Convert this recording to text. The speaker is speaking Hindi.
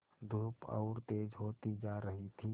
धूप और तेज होती जा रही थी